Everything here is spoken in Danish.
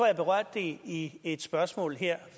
jeg berørte det i et spørgsmål her